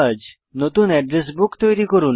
নতুন address book তৈরী করুন